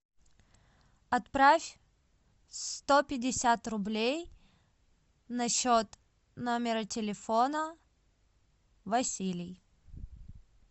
отправь сто пятьдесят рублей на счет номера телефона василий